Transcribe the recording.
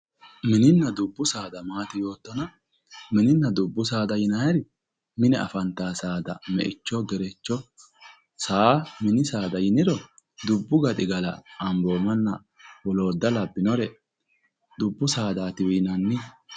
mininna dubbu saada maati yoottona mininna dubbu saada yinanniri mine afantanno saada meicho gerecho saa mini saada yiniro dubbu gaxigala amboomanna woloodda labbinore dubbu saadaatiwe yinanni.